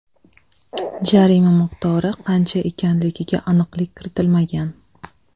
Jarima miqdori qancha ekanligiga aniqlik kiritilmagan.